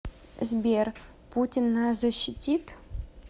сбер путин нас защитит